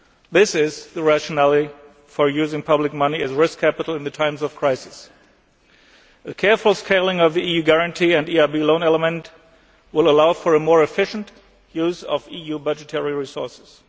This is the rationale for using public money as risk capital in times of crisis. A careful scaling of the EU guarantee and EIB loan element will allow for a more efficient use of EU budgetary resources.